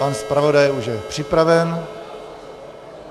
Pan zpravodaj už je připraven.